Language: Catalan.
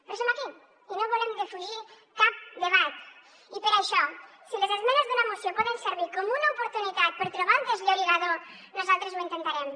però som aquí i no volem defugir cap debat i per això si les esmenes d’una moció poden servir com una oportunitat per trobar el desllorigador nosaltres ho intentarem